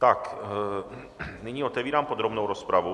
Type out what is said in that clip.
Tak, nyní otevírám podrobnou rozpravu.